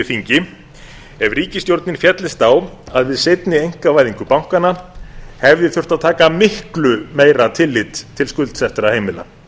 þingi ef ríkisstjórnin féllist á að við seinni einkavæðingu bankanna hefði þurft að taka miklu meira tillit til skuldsettra heimila